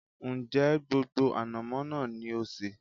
Ń jẹ́ gbogbo ànàmọ́ náà ni ó sé?